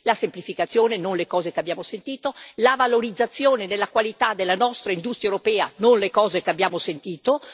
Quindi la semplificazione, non le cose che abbiamo sentito, la valorizzazione della qualità della nostra industria europea, non le cose che abbiamo sentito.